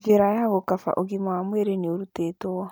Njĩra ya gũkaba Ũgima wa Mwĩrĩ nĩ ũrutĩtwo